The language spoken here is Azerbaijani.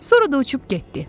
Sonra da uçub getdi.